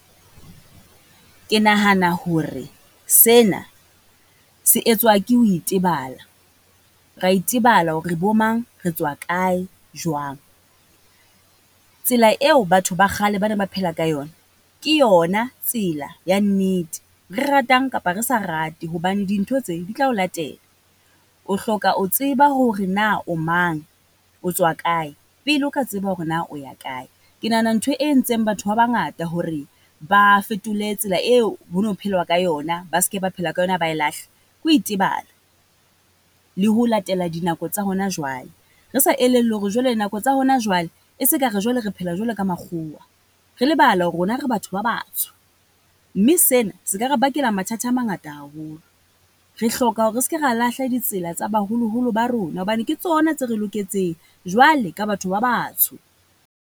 Ke nahana hore sena se etswa ke ho itebala, ra itebala hore re bo mang, retswa kae jwang. Tsela eo batho ba kgale ba ne ba phela ka yona, ke yona tselaya nnete, re ratang kapa re sa rate. Hobane dintho tse di tla o latela, o hloka o tseba hore na o mang, otswa kae, pele o ka tseba hore na o ya kae. Ke nahana ntho e entseng batho ba bangata hore ba fetole tsela eo ho no phelwa ka yona, ba se ke ba phela ka yona ba e lahle, ke ho itebala. Le ho latela dinako tsa hona jwale, re sa elellwe hore jwale nako tsa hona jwale e se ka re jwale re phela jwalo ka makgwowa. Re lebala hore rona re batho ba batsho, mme sena se ka re bakela mathata a mangata haholo. Re hloka hore re ska re lahla ditsela tsa baholoholo ba rona, hobane ke tsona tse re loketseng jwale ka batho ba batsho.